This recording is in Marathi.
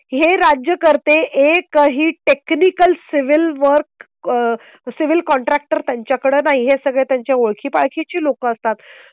हे राज्यकर्ते एकही technical civil work civil contractor त्यांच्याकडे नाही. हे सगळे त्यांच्या ओळखी पाळखी ची लोक असतात